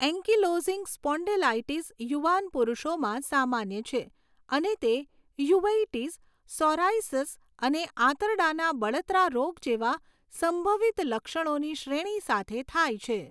Ankylosing spondylitis યુવાન પુરુષોમાં સામાન્ય છે અને તે યુવેઇટિસ, સૉરાયિસસ અને આંતરડાના બળતરા રોગ જેવા સંભવિત લક્ષણોની શ્રેણી સાથે થાય છે.